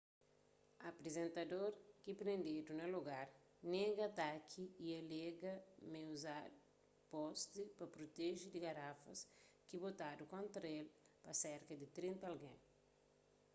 aprizentador ki prendedu na lugar nega ataki y alega ma é uza posti pa proteje di garafas ki botadu kontra el pa serka di trinta algen